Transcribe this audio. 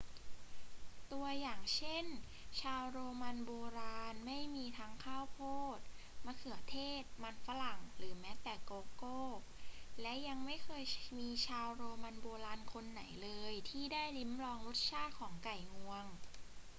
ตัวอย่างเช่น ชาวโรมันโบราณไม่มีทั้งข้าวโพด มะเขือเทศ มันฝรั่ง หรือแม้แต่โกโก้ และยังไม่เคยมีชาวโรมันโบราณคนไหนเลยที่ได้ลิ้มลองรสชาติของไก่งวง